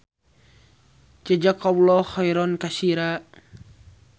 Jazakallah khoiron kasira.